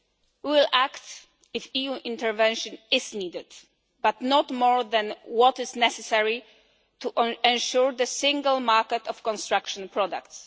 We will act if EU intervention is needed, but not more than is necessary to ensure the single market of construction products.